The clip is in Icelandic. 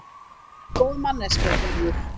Þú ert góð manneskja, Gerður.